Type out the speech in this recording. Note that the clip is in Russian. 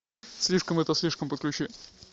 слишком это слишком подключи